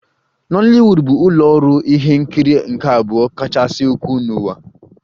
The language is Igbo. Nollywood bụ ụlọ ọrụ ihe nkiri nke abụọ kachasị ukwuu n'ụwa